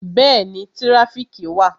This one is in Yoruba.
Bẹẹni, tirafiki wà